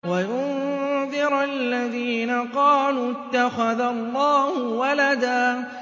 وَيُنذِرَ الَّذِينَ قَالُوا اتَّخَذَ اللَّهُ وَلَدًا